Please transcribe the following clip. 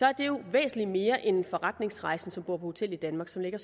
er det væsentlig mere end en forretningsrejsende som bor på hotel i danmark som lægger